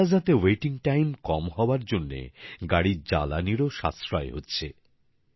toll প্লাজাতে অপেক্ষার সময় কম হওয়ার জন্যে গাড়ির জ্বালানীরও সাশ্রয় হচ্ছে